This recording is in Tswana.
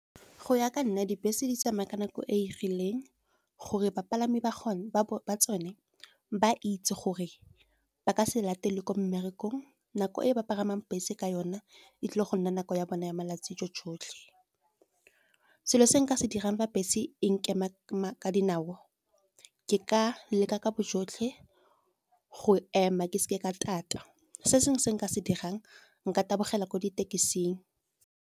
Go ya ka nna dibese di tsamaya ka nako e e rileng gore bapalami ba ba tsone ba itse gore ba ka se latele ko mmerekong. Nako e ba pagamang bese ka yona e tlile go nna nako ya bona ya malatsi . Selo se nka se dirang fa bese e nkema ka dinao ke ka leka ka bojotlhe go ema ke seke ka tata, se sengwe se nka se dirang, nka tabogela ko ditekising.